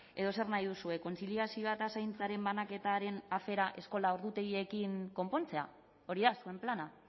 edo zer nahi duzue kontziliazioa eta zaintzaren banaketaren afera eskola ordutegiekin konpontzea hori da zuen plana